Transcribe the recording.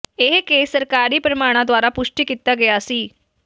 ਇਹ ਕੇਸ ਸਰਕਾਰੀ ਪ੍ਰਮਾਣਾਂ ਦੁਆਰਾ ਪੁਸ਼ਟੀ ਕੀਤਾ ਗਿਆ ਸੀ